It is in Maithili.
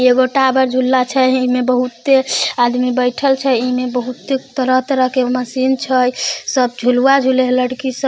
एगो टावर झुल्ला छै ई में बहुत आदमी बेठल छै ई में बहुत तरह तरह के मशीन छै सब झुलवा झूले है लड़की सब।